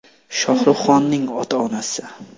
Shohruh Xonning ota-onasi.